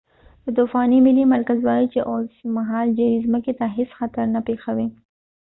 د طوفان ملي مرکز وایی چې اوسمهال جیري ځمکې ته هیڅ خطر نه پیښوي